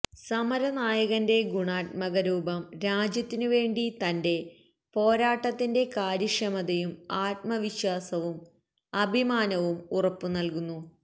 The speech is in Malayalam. സമരനായകന്റെ ഗുണാത്മക രൂപം രാജ്യത്തിനു വേണ്ടി തന്റെ പോരാട്ടത്തിന്റെ കാര്യക്ഷമതയും ആത്മവിശ്വാസവും അഭിമാനവും ഉറപ്പ് നൽകുന്നു